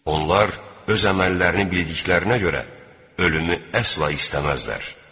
Onlar öz əməllərini bildiklərinə görə ölümü əsla istəməzlər.